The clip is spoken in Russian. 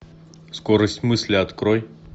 скорость мысли открой